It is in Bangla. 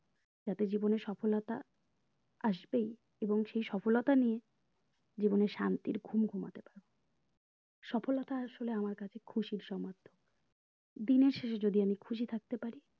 যাতে জীবনের সফলতা আসবেই এবং সেই সফলতা নিয়ে জীবনের শান্তির ঘুম ঘুমাতে পারো সফলতা আমার কাছে খুশির সমতুল্য মাত্র দিনের শেষে যদি আমি খুশি থাকতে পারি